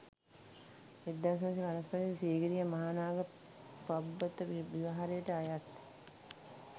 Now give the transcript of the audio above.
1955 දී සීගිරිය මහානාග පබ්බත විහාරයට අයත්